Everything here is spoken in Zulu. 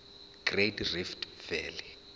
great rift valley